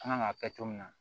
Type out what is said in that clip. An kan ka kɛ cogo min na